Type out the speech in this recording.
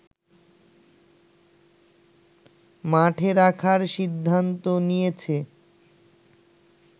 মাঠে রাখার সিদ্ধান্ত নিয়েছে